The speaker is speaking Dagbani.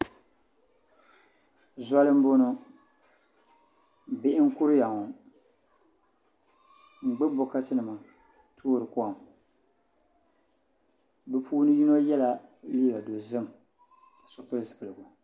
Zoli n boŋo bihi n kuriya ŋo n gbubi bokati nima n toori kom bi puuni yino yɛla liiga dozim ka so pili zipiligu